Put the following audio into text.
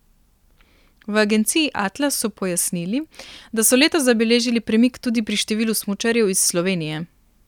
V agenciji Atlas so pojasnili, da so letos zabeležili premik tudi pri številu smučarjev iz Slovenije.